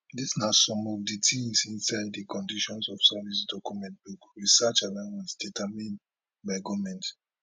dis na some of di tins inside di conditions of service document book research allowance determined by goment